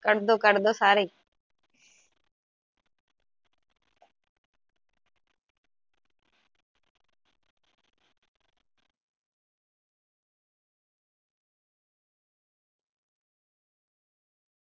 ਕਟਦੋ ਕਟਦੋ ਸਾਰੇ ਈ।